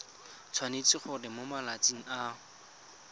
tshwanetse gore mo malatsing a